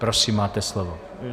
Prosím, máte slovo.